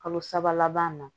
Kalo saba laban na